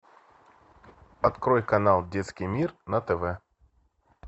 открой канал детский мир на тв